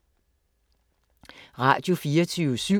Radio24syv